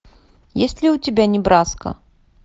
есть ли у тебя небраска